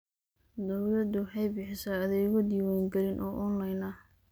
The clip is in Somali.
Dawladdu waxay bixisaa adeegyo diwaangelin oo onlayn ah.